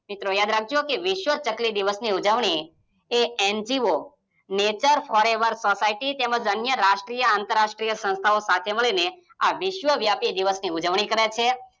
મિત્રો યાદ રાખજો કે વિસ્વ ચકલી દિવસની ઉજવણી એ N_G_O નેચર ફોરએવર સોસાયટી, તેમજ અન્ય રાષ્ટ્રીય અને આતર્રાષ્ટ્રીય સંસ્થાઓ સાથે મળીને વિસ્વ વ્યાપી દિવસની ઉજવણી કરે છે.